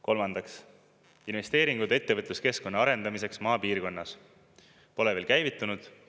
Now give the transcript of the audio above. Kolmandaks, investeeringud ettevõtluskeskkonna arendamiseks maapiirkonnas pole veel käivitunud.